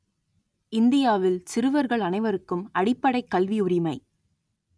இந்தியாவில் சிறுவர்கள் அனைவருக்கும் அடிப்படைக் கல்வி உரிமை